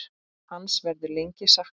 Hans verður lengi saknað.